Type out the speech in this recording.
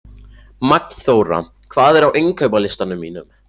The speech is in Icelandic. Magnþóra, hvað er á innkaupalistanum mínum?